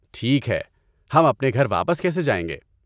ٹھیک ہے، ہم اپنے گھر واپس کیسے جائیں گے؟